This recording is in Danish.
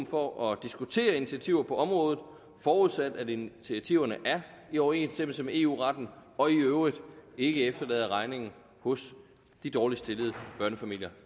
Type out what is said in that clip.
for at diskutere initiativer på området forudsat at initiativerne er i overensstemmelse med eu retten og i øvrigt ikke efterlader regningen hos de dårligst stillede børnefamilier